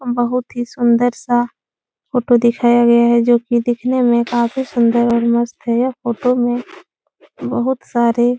बहुत ही सुन्दर सा फोटो दिखाया गया है जो कि दिखने में काफी सुन्दर और मस्त हैं। यह फोटो में बहुत सारे --